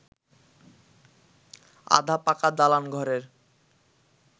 আধা পাকা দালান ঘরের